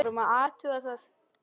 Við vorum að athuga það.